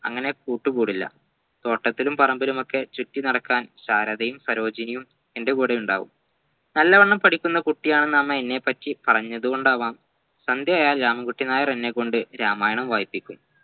അങ്ങനെ കൂട്ടുകൂടില്ല തോട്ടത്തിലും പറമ്പിലുമൊക്കെ ചുറ്റിനടക്കാൻ സാരതെയും സരോജിനിയും എൻ്റെ കൂടെയുണ്ടാവും നല്ലവണ്ണം പഠിക്കുന്ന കുട്ടിയാണെന്ന് അമ്മ എന്നെ പ്പറ്റി പറഞ്ഞത് കൊണ്ടാവാം സന്ധ്യയായാൽ രാമൻകുട്ടി നായർ എന്നെ കൊണ്ട് രാമായണം വായിപ്പിക്കും